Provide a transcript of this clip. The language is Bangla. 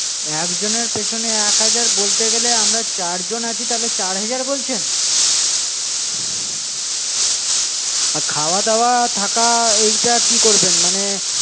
একজনের পেছনে এক হাজার বলতে গেলে আমরা চার জন আছি, তার মানে চার হাজার বলছেন। আর খাওয়া-দাওয়া থাকা এইটা কি করবেন?